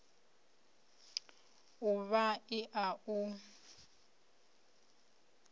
d uvha l a u